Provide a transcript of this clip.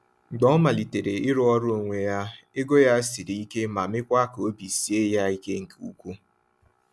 Mgbe ọ malitere ịrụ ọrụ onwe ya, ego ya siri ike ma meekwa ka obi sie ya ike nke ukwuu.